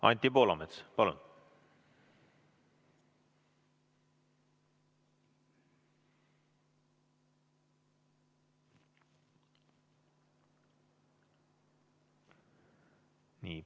Anti Poolamets, palun!